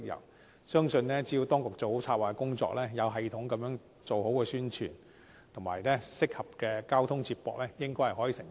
我相信只要當局做好策劃工作，有系統地推廣宣傳，以及提供合適的交通接駁，應該可以成功。